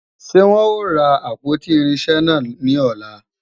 Ṣé wọn ó ra àpótí irinṣẹ́ náà ní ọ̀la?